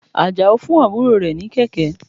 Àjàó fún àbúrò rẹ̀ ní kẹ̀kẹ́.